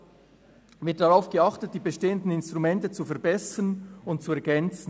Es wird darauf geachtet, die bestehenden Instrumente zu verbessern und zu ergänzen.